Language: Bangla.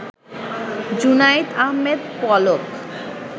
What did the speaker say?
জুনাইদ আহমেদ পলক